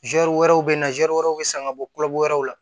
wɛrɛw bɛ na ze wɛrɛw bɛ san ka bɔ koloko wɛrɛw la